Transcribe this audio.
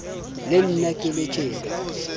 le nna ke le tjena